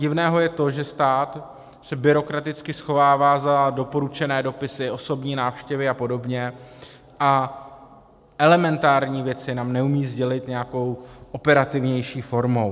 Divné je to, že stát se byrokraticky schovává za doporučené dopisy, osobní návštěvy a podobně a elementární věci nám neumí sdělit nějakou operativnější formou.